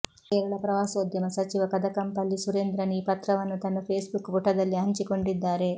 ಕೇರಳ ಪ್ರವಾಸೋದ್ಯಮ ಸಚಿವ ಕದಕಂ ಪಲ್ಲಿ ಸುರೇಂದ್ರನ್ ಈ ಪತ್ರವನ್ನು ತನ್ನ ಫೇಸ್ಬುಕ್ ಪುಟದಲ್ಲಿ ಹಂಚಿಕೊಂಡಿದ್ದಾರೆ